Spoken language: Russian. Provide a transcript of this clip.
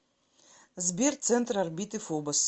сбер центр орбиты фобос